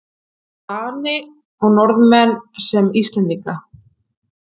Dani og Norðmenn sem Íslendinga.